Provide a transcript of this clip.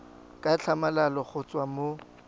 ka tlhamalalo go tswa mo